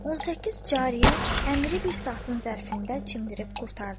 18 cariyə Əmiri bir saatın zərfində çimdirib qurtardı.